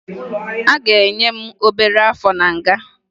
A ga-enye m obere áfọ̀ na nga